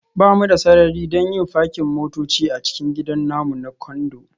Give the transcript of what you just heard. Ba mu da sarari don yin fakin motoci a cikin gidan namu na Condo